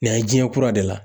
Nin yan ye jiɲɛ kura de la.